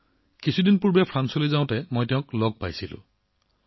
আগতে এবাৰ ফ্ৰান্সলৈ যোৱাৰ সময়ত তেওঁক লগ পাইছিলোঁ